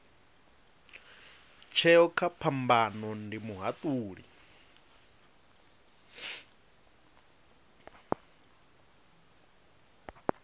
tsheo kha phambano ndi muhatuli